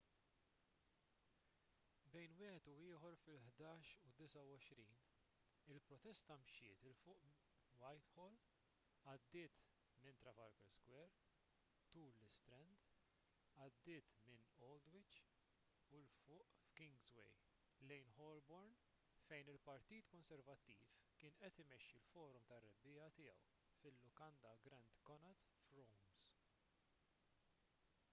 bejn wieħed u ieħor fil-11:29 il-protesta mxiet ’il fuq f’whitehall għaddiet minn trafalgar square tul l-istrand għaddiet minn aldwych u ’l fuq f’kingsway lejn holborn fejn il-partit konservattiv kien qed imexxi l-forum tar-rebbiegħa tiegħu fil-lukanda grand connaught rooms